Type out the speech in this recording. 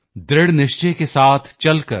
ਦ੍ਰਿੜ ਨਿਸ਼ਚੇ ਕੇ ਸਾਥ ਚਲ ਕਰ